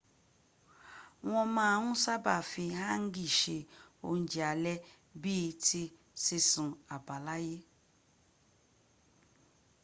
wọn ma n saba fi hangi se ounjẹ alẹ bii ti sisun abalaye